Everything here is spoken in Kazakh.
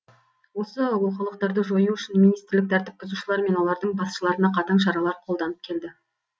осы олқылықтарды жою үшін министрлік тәртіп бұзушылар мен олардың басшыларына қатаң шаралар қолданып келді